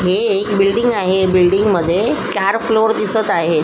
ही एक बिल्डींग आहे बिल्डींग मध्ये चार फ्लोर दिसत आहेत.